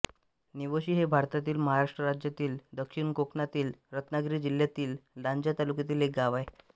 निवोशी हे भारतातील महाराष्ट्र राज्यातील दक्षिण कोकणातील रत्नागिरी जिल्ह्यातील लांजा तालुक्यातील एक गाव आहे